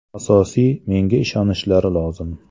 Asosiysi menga ishonishlari lozim.